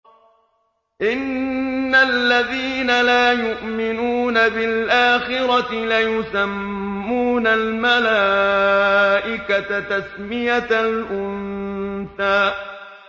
إِنَّ الَّذِينَ لَا يُؤْمِنُونَ بِالْآخِرَةِ لَيُسَمُّونَ الْمَلَائِكَةَ تَسْمِيَةَ الْأُنثَىٰ